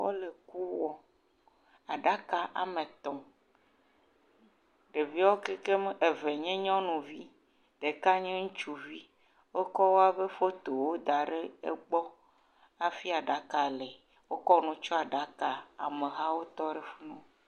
Wole ku wɔm. Aɖaka ame etɔ̃. Ɖeviwo kekem eve nye nyɔnuvi. Ɖeka nye ŋutsuvi. Wokɔ wo fotowo da ɖe egbɔ hafi aɖaka li. Wotsɔ nu kɔ tsɔ aɖaka. Ame hawo tɔ ɖe afi ma.